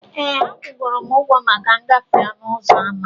Ee, akwụgoro m ụgwọ maka ngafe ọnụ ụzọ ámá.